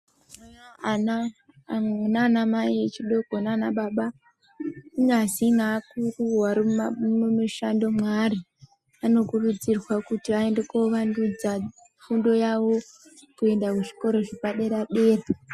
Ana nana mai echidoko nanababa kunyazi naakuru varimumishando mwaari. Anokurudzirwa kuti aende kuvandudza fundo yavo kuenda kuzvikora zvepadera.